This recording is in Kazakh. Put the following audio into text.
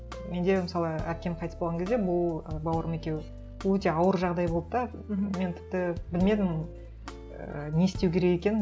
менде мысалы әпкем қайтыс болған кезде бұл ы бауырым екеуі өте ауыр жағдай болды да мхм мен тіпті білмедім і не істеу керек екенін